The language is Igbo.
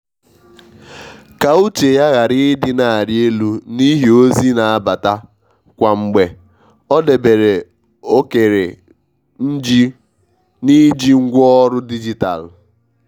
ka uche ya ghara ị dị na arị elu n’ihi ozi n'abata kwa mgbe ọ debere ókère n’iji ngwaọrụ dijitalụ.